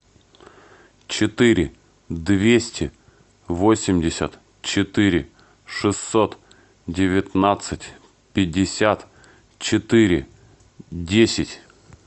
четыре двести восемьдесят четыре шестьсот девятнадцать пятьдесят четыре десять